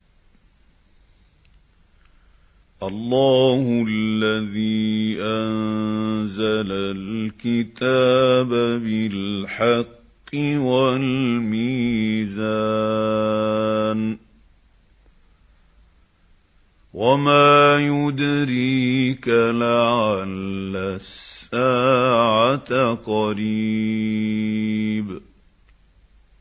اللَّهُ الَّذِي أَنزَلَ الْكِتَابَ بِالْحَقِّ وَالْمِيزَانَ ۗ وَمَا يُدْرِيكَ لَعَلَّ السَّاعَةَ قَرِيبٌ